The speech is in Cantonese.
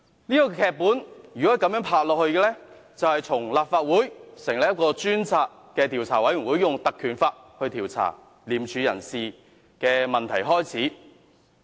這份劇本如果發展下去，便是從立法會引用《條例》成立專責委員會，以調查廉署人事的問題開始。